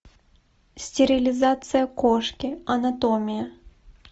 стерилизация кошки анатомия